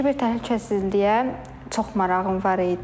Kiber təhlükəsizliyə çox marağım var idi.